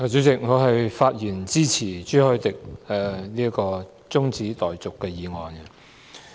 主席，我發言支持朱凱廸議員提出的中止待續議案。